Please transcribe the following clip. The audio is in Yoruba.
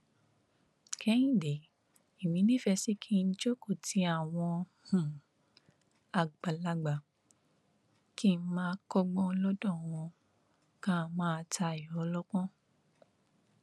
kẹhìndé èmi nífẹẹ sí kí n jókòó ti àwọn àgbàlagbà kí n máa kọgbọn lọdọ wọn ká máa tayọ ọlọpọn